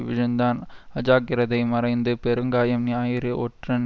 விழுந்தான் அஜாக்கிரதை மறைந்து பெருங்காயம் ஞாயிறு ஒற்றன்